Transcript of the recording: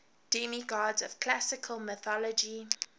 demigods of classical mythology